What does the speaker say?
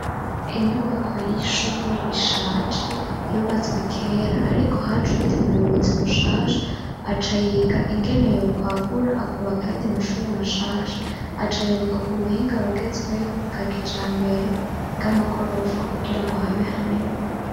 Inyubako y'ishuri ishaje yubatswe kera, ariko haje uwundi muyobozi mushasha acayiga ingene yo kwagura akubaka ayandi mashure mashasha. Acayubaka ku buhinga bugezweho bwa kijambere bw'amagorofa kugira ngo habe hanini.